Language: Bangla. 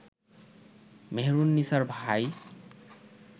মেহেরুননিসার ভাই